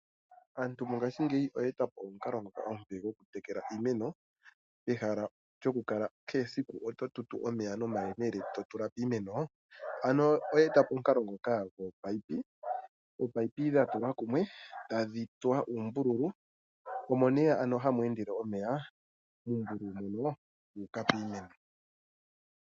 Aantu mongashingeyi oya eta po omukalo ngoka omupe gokutekela iimeno, pehala lyokukala kehe esiku oto tutu omeya nomahemele to tula piimeno. Ano oya eta po omukalo ngoka gwominino, ominino dha tulwa kumwe, tadhi tsuwa uumbululu, omo hamu endele omeya muumbululu mono guuka piimeno.